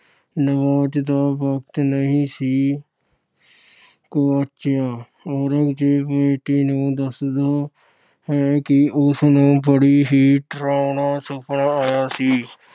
ਨਵਾਜ ਦਾ ਵਕਤ ਨਹੀਂ ਸੀ ਗੁਆਚਿਆ। ਔਰੰਗਜ਼ੇਬ ਬੇਟੀ ਨੂੰ ਦੱਸਦਾ ਹੈ ਕਿ ਉਸ ਨੂੰ ਬੜਾ ਹੀ ਡਰਾਉਣਾ ਸੁਪਨਾ ਆਇਆ ਸੀ।